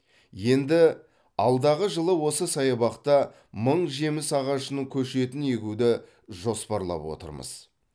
енді алдағы жылы осы саябақта мың жеміс ағашының көшетін егуді жоспарлап отырмыз